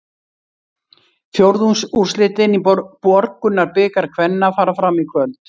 Fjórðungsúrslitin í Borgunarbikar kvenna fara fram í kvöld.